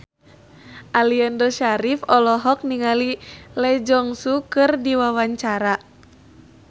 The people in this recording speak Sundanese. Aliando Syarif olohok ningali Lee Jeong Suk keur diwawancara